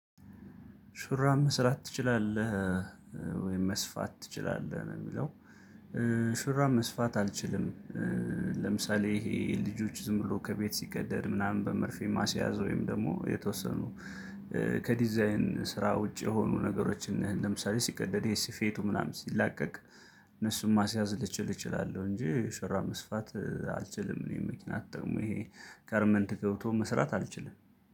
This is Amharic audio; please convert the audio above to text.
ሹራብ መስራት ትችላለህ እ ወይም መስፋት ትችላለህ ነው የሚለው እ ሹራብ መስፋት አልችልም። ለምሳሌ ይሄ ልጆች ዝም ብሎ ከቤት ሲቀደድ ምናምን በመርፌ ማስያዝ ወይም ደግሞ የተወሰኑ እ ከዲዛይን ስራ ውጪ የሆኑ ነገሮችን ለምሳሌ ሲቀደድ ይሄ ሲፌቱ ምናምን ሲላቀቅ እነሱን ማስያዝ ልችል እችላለሁ። እንጂ ሹራብ መስፋት እ አልችልም። እኔ መኪና ተጠቅሞ ይሄ ጋርመንት ገብቶ መስራት አልችልም።